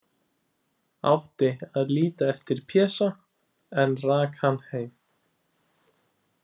Átti að líta eftir Pésa, en rak hann heim.